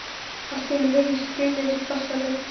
Allt í einu heyrist drynjandi bassarödd.